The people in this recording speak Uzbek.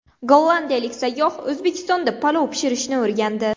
Gollandiyalik sayyoh O‘zbekistonda palov pishirishni o‘rgandi.